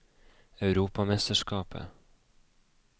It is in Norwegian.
europamesterskapet